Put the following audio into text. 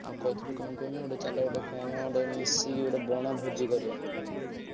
ଆଉ କହୁଥିଲି କଣ କୁହନି ଗୋଟେ ଚାଲ ଗୋଟେ କଣ ଗୋଟେ ମିଶିକି ଗୋଟେ ବଣଭୋଜି କରିଆ।